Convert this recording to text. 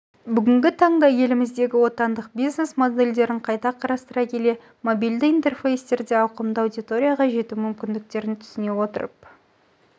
бүгінгі таңда еліміздегі отандық бизнес-модельдерін қайта қарастыра келе мобильді интерфейстерде ауқымды аудиторияға жету мүмкіндіктерін түсіне отырып